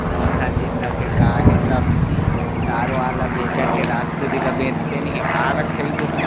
फेकाय हे सब चीज तार वार ला बेचत हे राजश्री ला बेचते नई हे काला खइबो हमन।